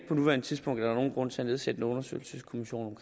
på nuværende tidspunkt er nogen grund til at nedsætte en undersøgelseskommission